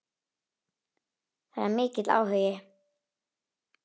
Það er mikill áhugi.